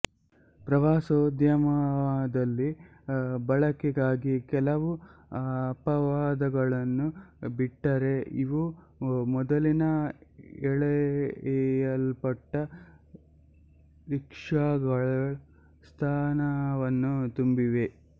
ಪ್ರವಾಸೋದ್ಯಮದಲ್ಲಿ ಬಳಕೆಗಾಗಿ ಕೆಲವು ಅಪವಾದಗಳನ್ನು ಬಿಟ್ಟರೆ ಇವು ಮೊದಲಿನ ಎಳೆಯಲ್ಪಟ್ಟ ರಿಕ್ಷಾಗಳ ಸ್ಥಾನವನ್ನು ತುಂಬಿವೆ